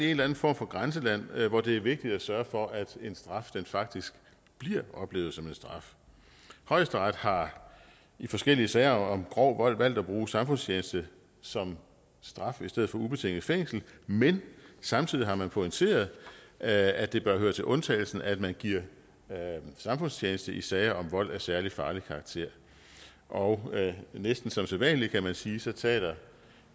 eller anden form for grænseland hvor det er vigtigt at sørge for at en straf faktisk bliver oplevet som en straf højesteret har i forskellige sager om grov vold valgt at bruge samfundstjeneste som straf i stedet for ubetinget fængsel men samtidig har man pointeret at det bør høre til undtagelsen at man giver samfundstjeneste i sager om vold af særlig farlig karakter og næsten som sædvanlig kan man sige taler